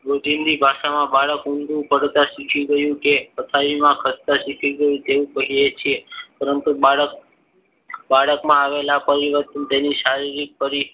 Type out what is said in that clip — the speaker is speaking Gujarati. રોજિંદી ભાષામાં બાળક ઊંધું પડતા શીખી ગયું. તે પથારીમાં ખસતા શીખી ગયું તેવું કહીએ છીએ. પરંતુ બાળક બાળકમાં આવેલા પરિવર્તન તેની શારીરિક પરી